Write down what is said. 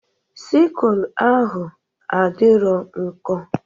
Sikụl ahụ adịrọ nkọ.